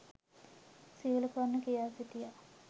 සියලු කරුණු කියා සිටියා.